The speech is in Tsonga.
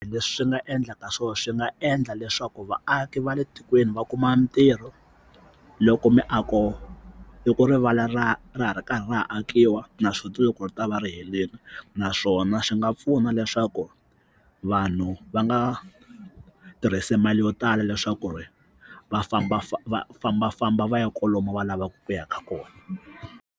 Leswi swi nga endla ka swona swi nga endla leswaku vaaki va le tikweni va kuma mitirho loko miako loko rivala ra ra ra ra ha akiwa naswona loko ri ta va ri helela naswona swi nga pfuna leswaku vanhu va nga tirhisi mali yo tala leswaku ri va fambafamba fambafamba va kwalomu va lavaka ku yaka kona.